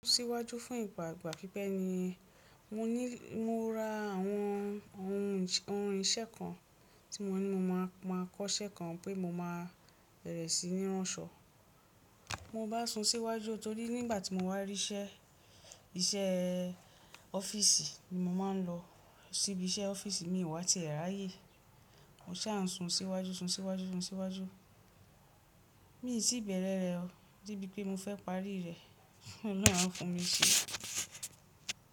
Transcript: Síwájú fún ìgbà gbà pípẹ́ ni mo ra àwọn ohun iṣẹ́ kan tí mo ní mo máa kọ́ṣẹ́ kan pé mo máa bẹ̀rẹ̀ sí ní ránṣọ. Mo bá sun síwájú torí nígbà tí mo wá rí iṣẹ́, iṣẹ́ ọ́fíìsì ni mo máa ń lọ. Síbi iṣẹ́ ọ́fíìsì mi wá ti ẹ̀ ráyé. Mo sà ń sun síwájú, sun síwájú, sun síwájú. Mi sí bẹ̀rẹ̀ rẹ̀ o, dé bí pé mo fẹ́ parí rẹ̀, kí Ọlọ́hun á fún mi iṣẹ́.